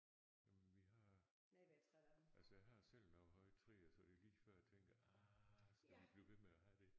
Jamen vi har altså jeg har selv nogle høje træer så det lige før jeg tænker ah skal vi blive ved med at have det